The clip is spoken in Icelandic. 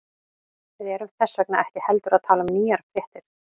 Við erum þess vegna ekki heldur að tala um nýjar fréttir.